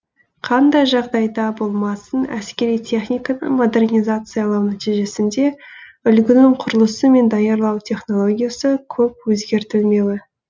қандай жағдайда болмасын әскери техниканы модернизациялау нәтижесінде үлгінің құрылысы мен даярлау технологиясы көп өзгертілмеуі